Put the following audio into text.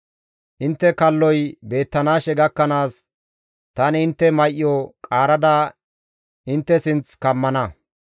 Intte kalloy beettanaashe gakkanaas tani intte may7o qaarada intte sinth kammana.